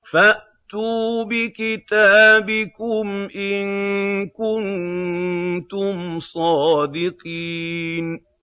فَأْتُوا بِكِتَابِكُمْ إِن كُنتُمْ صَادِقِينَ